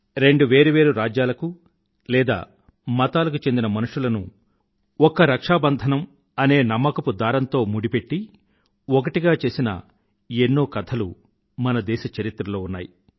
రెండు వేరు వేరు రాజ్యాలకు లేదా మతాలకు చెందిన మనుషులను ఒక్క రక్షా బంధనం అనే నమ్మకపు దారంతో ముడిపెట్టి ఒకటిగా చేసిన ఎన్నో కథలు మన దేశ చరిత్రలో ఉన్నాయి